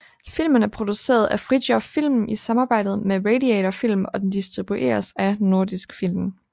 Filmen er produceret af Fridthjof Film i samarbejde med Radiator Film og den distribueres af Nordisk Film